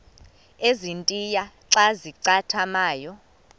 ezintia xa zincathamayo